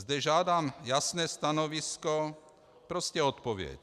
Zde žádám jasné stanovisko, prostě odpověď.